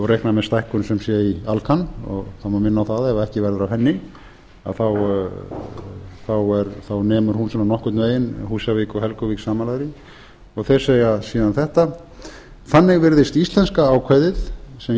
og reikna með stækkun sem sé í alcan það má minna á það ef ekki verður af henni þá nemur hún svona nokkurn veginn húsavík og helguvík samanlagðri þeir segja síðan þetta þannig virðist íslenska ákvæðið sem